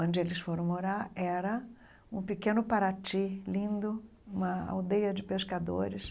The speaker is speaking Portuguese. Onde eles foram morar era um pequeno Paraty lindo, uma aldeia de pescadores.